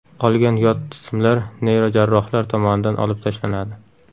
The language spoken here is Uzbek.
Qolgan yot jismlar neyrojarrohlar tomonidan olib tashlanadi.